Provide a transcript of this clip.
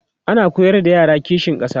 ana koyar da yara kishin ƙasa